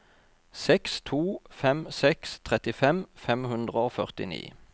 seks to fem seks trettifem fem hundre og førtini